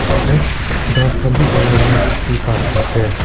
osor te grass khan bhi ulai kina dekhi pai ase.